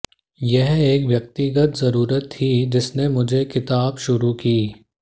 यह एक व्यक्तिगत ज़रूरत थी जिसने मुझे किताब शुरू की